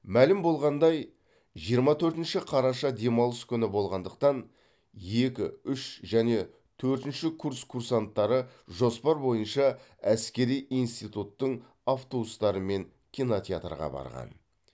мәлім болғандай жиырма төртінші қараша демалыс күні болғандықтан екі үш және төртінші курс курсанттары жоспар бойынша әскери институттың автобустарымен кинотеатрға барған